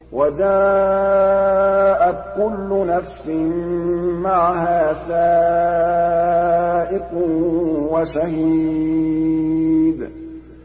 وَجَاءَتْ كُلُّ نَفْسٍ مَّعَهَا سَائِقٌ وَشَهِيدٌ